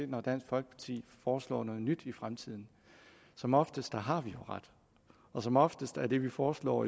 når dansk folkeparti foreslår noget nyt i fremtiden som oftest har vi jo ret og som oftest er det vi foreslår